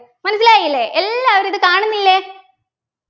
മനസിലായില്ലേ എല്ലാവരും ഇത് കാണുന്നില്ലേ